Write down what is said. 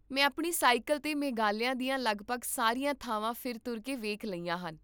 ਮੈਂ ਆਪਣੀ ਸਾਈਕਲ 'ਤੇ ਮੇਘਾਲਿਆ ਦੀਆਂ ਲਗਭਗ ਸਾਰੀਆਂ ਥਾਵਾਂ ਫਿਰ ਤੁਰ ਕੇ ਵੇਖ ਲਈਆਂ ਹਨ